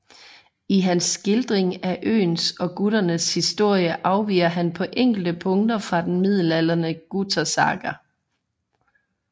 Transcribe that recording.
I hans skildring af øens og guternes historie afviger han på enkelte punkter fra den middelalderige Gutersaga